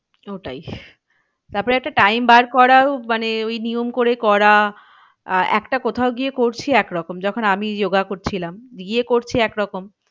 ওটাই তারপরে একটা time বার করাও মানে ওই নিয়ম করে করা। আহ একটা কোথাও গিয়ে করছি এক রকম যখন আমি yoga করছিলাম গিয়ে করছি এক রকম